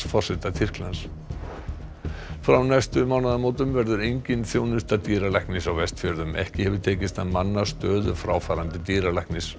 forseta Tyrklands frá næstu mánaðamótum verður engin þjónusta dýralæknis á Vestfjörðum ekki hefur tekist að manna stöðu fráfarandi dýralæknis